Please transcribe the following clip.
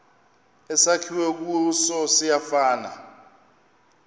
esakhiwe kuso siyafana